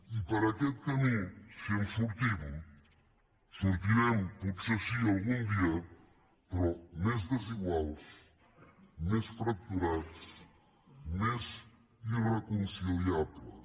i per aquest camí si en sortim sortirem potser sí algun dia però més desiguals més fracturats més irreconciliables